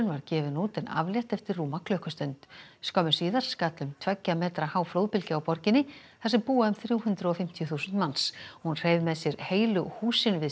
var gefin út en aflétt eftir rúma klukkustund skömmu síðar skall um tveggja metra há flóðbylgja á borginni þar sem búa um þrjú hundruð og fimmtíu þúsund manns hún hreif með sér heilu húsin við